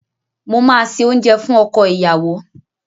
Mò máa se oúnjẹ fún ọkọ ìyàwó.